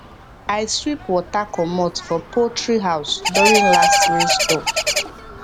i sweep water comot for poultry house during last rainstorm